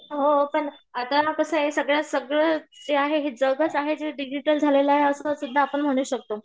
हो पण आता कसं आहे सगळ्या सगळं जे आहे हे जगचं आहे जे डिजिटल झालेलं आहे असं आपण म्हणू शकतो.